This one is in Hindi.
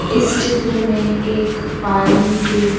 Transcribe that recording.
इस चित्र में एक पानी के।